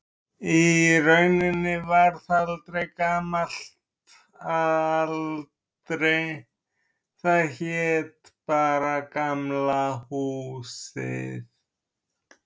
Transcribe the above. Í rauninni varð það aldrei gamalt að aldri, það hét bara Gamla húsið.